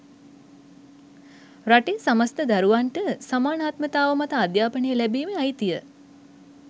රටේ සමස්ත දරුවන්ට සමානාත්මතාව මත අධ්‍යාපනය ලැබිමේ අයිතිය